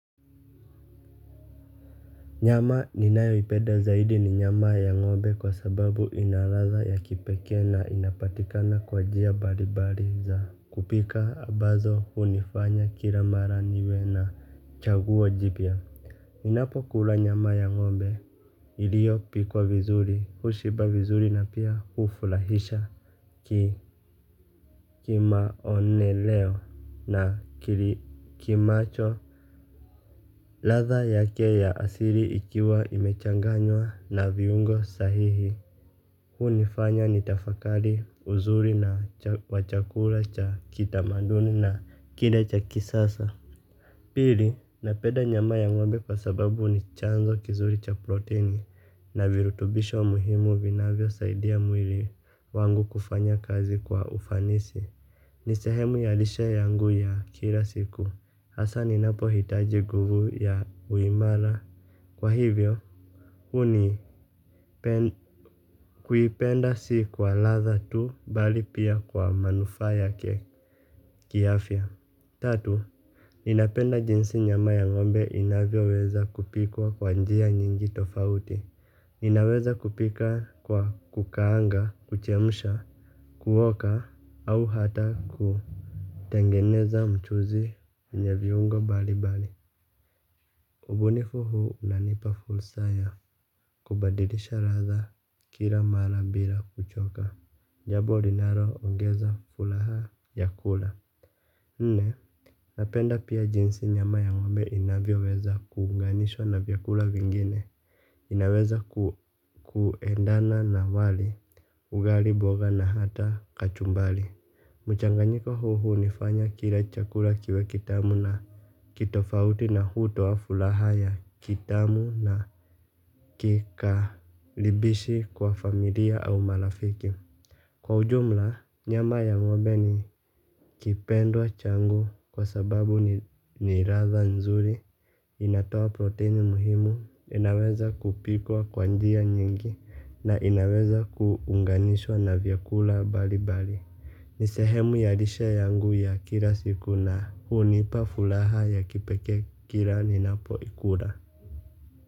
Nyama ni nayo ipeda zaidi ni nyama ya ng'ombe kwa sababu inaladha ya kipeke na inapatikana kwa jia baribari za kupika abazo unifanya kila mara niwe na chaguwo jibia ninapo kula nyama ya ng'ombe ilio pikwa vizuri hushiba vizuri na pia ufulahisha kimaoneleo na kili kimacho. Latha yake ya asiri ikiwa imechanganywa na viungo sahihi. Hu nifanya nitafakari uzuri na wachakula cha kitamanduni na kile cha kisasa. Pili na peda nyama ya ngombe kwasababu ni chanzo kizuri cha proteini na virutubisho muhimu vinavyo saidia mwili wangu kufanya kazi kwa ufanisi. Nisehemu yalishe yangu ya kila siku. Hasa ninapo hitaji guvu ya uimala. Kwa hivyo, uni kuipenda siku wa latha tu bali pia kwa manufaya kiafya. Tatu, ninapenda jinsi nyama ya ngombe inavyo weza kupikwa kwa njia nyingi tofauti. Inaweza kupika kwa kukaanga, kuchemusha, kuhoka au hata kutengeneza mchuzi enye viungo bali bali ubunifu huu unanipa fursa ya kubadilisha ladha kila mara bila kuchoka. Jambo linalo ongeza furaha ya kula. Ne, napenda pia jinsi nyama ya ngombe inavyo weza kuunganishwa na vyakula vingine. Inaweza kuendana na wali ugali mboga na hata kachumbari. Mchanganyiko huu hunifanya kila chakula kiwe kitamu na kitofauti na huto wa furaha ya kitamu na kikaribishi kwa familia au marafiki. Kwa ujumla, nyama ya ngombe ni kipendwa changu kwa sababu ni latha nzuri. Inatoa proteini muhimu, inaweza kupikwa kwa njia nyingi na inaweza kuunganishwa na vyakula mbali mbali. Ni sehemu ya lishe yangu ya kila siku na hunipa furaha ya kipekee kila ninapo ikula.